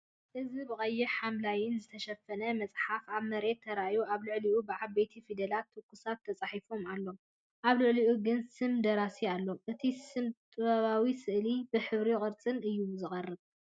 እዚ ብቐይሕን ሐምላይን ዝተሸፈነ መጽሓፍ ኣብ መሬት ተራእዩ። ኣብ ልዕሊኡ ብዓበይቲ ፊደላት 'ትኩሳት' ተጻሒፉ ኣሎ፡ ኣብ ልዕሊኡ ግን ስም ደራሲ ኣሎ። እቲ ስነ-ጥበባዊ ስእሊ ብሕብርን ቅርጽን እዩ ዝቐርብ።